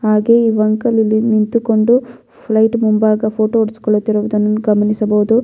ಹಾಗೆ ಈ ಅಂಕಲ್ ಇಲ್ಲಿ ನಿಂತುಕೊಂಡು ಫ್ಲೈಟ್ ಮುಂಭಾಗ ಫೋಟೋ ಹೊಡ್ಸಕೊಳ್ಳುತ್ತಿರುವುದನ್ನು ಗಮನಿಸಬಹುದು.